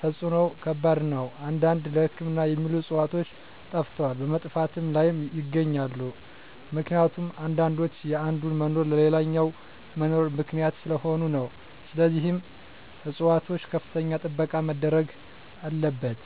ተፅዕኖው ከባድ ነው አንዳንድ ለህክምና የሚውሉ ዕፅዋቶች ጠፈተዋል በመጥፋት ላይም ይገኛሉ ምክኒቱም አንዳንዶች የአንዱ መኖር ለሌላኛው መኖር ምክኒያት ሰለሆኑ ነው ስለዚህም ፅፅዋቶች ከፍተኛ ጥበቃ መደረግ አለበት።